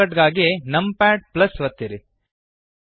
shortcut ಗಾಗಿ numpad ಒತ್ತಿರಿ